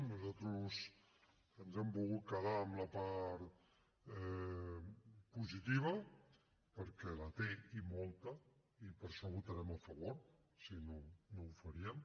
nosaltres ens hem volgut quedar amb la part positiva perquè la té i molta i per això votarem a favor si no no ho faríem